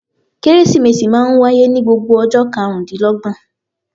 Kérésìmesì máa ń wáyé ní gbogbo ọjọ́ karùn-ún dín l'ọ́gbọ̀n.